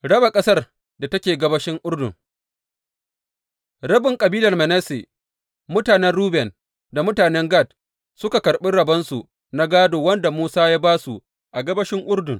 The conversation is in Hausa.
Raba ƙasar da take gabashin Urdun Rabin kabilar Manasse, mutanen Ruben da mutanen Gad suka karɓi rabonsu na gādo wanda Musa ya ba su a gabashin Urdun.